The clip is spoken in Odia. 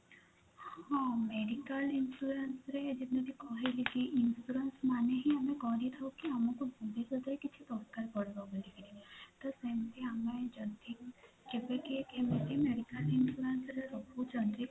ହଁ medical insurance ରେ ମୁଁ ଯେମିତି କହିଲି କି insurance ମାନେ ହିଁ ଆମେ କରିଥାଉ କି ଆମକୁ ଭବିଷ୍ୟତରେ କିଛି ଦରକାର ପଡିବ ବୋଲିକିରି ତ ସେମିତି ଆମେ ଯଦି କେବେ କିଏ medical insurance ରେ ରହୁଛନ୍ତି